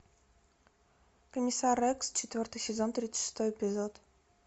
комиссар рекс четвертый сезон тридцать шестой эпизод